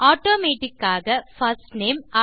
automatic ஆக first name